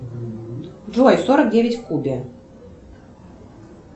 джой сорок девять в кубе